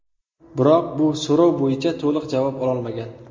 Biroq, bu so‘rov bo‘yicha to‘liq javob ololmagan.